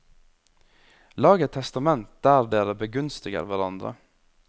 Lag et testament der dere begunstiger hverandre.